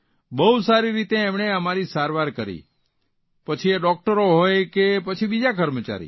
બહુ સારી રીતે એમણે અમારી સારવાર કરી પછી એ ડૉકટરો હોય કે પછી બીજા કર્મચારી